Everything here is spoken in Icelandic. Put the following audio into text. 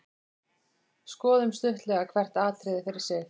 Skoðum stuttlega hvert atriði fyrir sig.